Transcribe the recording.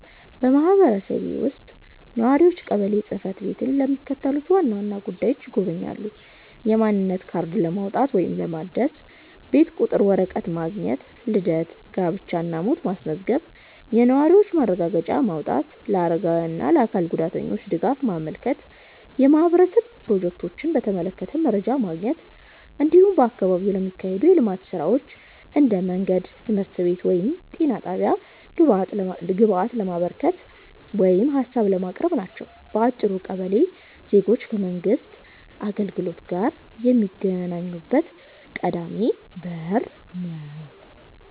በማህበረሰቤ ውስጥ ነዋሪዎች ቀበሌ ጽ/ቤትን ለሚከተሉት ዋና ዋና ጉዳዮች ይጎበኛሉ፦ የማንነት ካርድ ለማውጣት ወይም ለማደስ፣ የቤት ቁጥር ወረቀት ማግኘት፣ ልደት፣ ጋብቻ እና ሞት ማስመዝገብ፣ የነዋሪነት ማረጋገጫ ማውጣት፣ ለአረጋውያን እና ለአካል ጉዳተኞች ድጋፍ ማመልከት፣ የማህበረሰብ ፕሮጀክቶችን በተመለከተ መረጃ ማግኘት፣ እንዲሁም በአካባቢው ለሚካሄዱ የልማት ሥራዎች (እንደ መንገድ፣ ትምህርት ቤት ወይም ጤና ጣቢያ) ግብአት ለማበርከት ወይም ሀሳብ ለማቅረብ ናቸው። በአጭሩ ቀበሌ ዜጎች ከመንግሥት አገልግሎት ጋር የሚገናኙበት ቀዳሚ በር ነው።